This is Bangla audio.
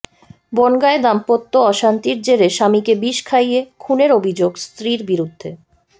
বনগাঁয় দাম্পত্য অশান্তির জেরে স্বামীকে বিষ খাইয়ে খুনের অভিযোগ স্ত্রীর বিরুদ্ধে